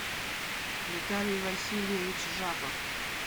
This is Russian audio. виталий васильевич жабов